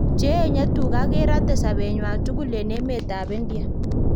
Che enye tuga kerate sobenywan tukul en emet ab India